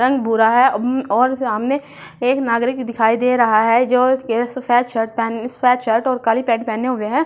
रंग भूरा है ह्ह् और सामने एक नागरिक दिखाई दे रहा है जो इस केस काली पेंट पहने हुए है और इस --